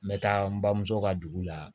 N bɛ taa n bamuso ka dugu la